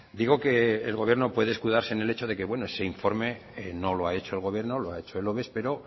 digo que el gobierno puede escudarse en el hecho de que bueno ese informe no lo ha hecho el gobierno lo ha hecho el oves pero